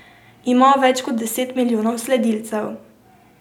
Ima več kot deset milijonov sledilcev.